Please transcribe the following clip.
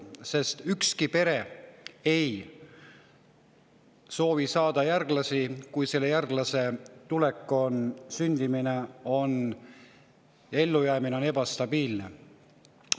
Sest ükski pere ei soovi saada järglasi, kui selle järglase sündimine ja ellujäämine on ebastabiilne.